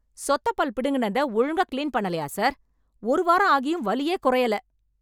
சொத்தை பல் பிடுங்கினதை ஒழுங்கா கிளீன் பண்ணலையா சார்? ஒரு வாரம் ஆகியும் வலியே குறையல.